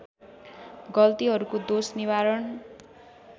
गल्तीहरूको दोष निवारण